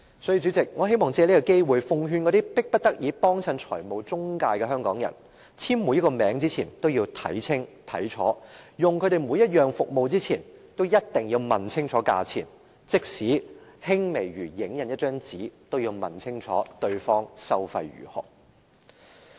因此，主席，我想藉着這個機會奉勸那些迫不得已光顧財務中介的香港人，在簽署每一個名之前都要看清楚，在使用這些公司任何服務前，也一定要問清楚價錢，即使輕微如影印一張紙，也要問清楚對方收費如何。